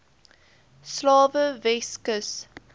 slawe weskus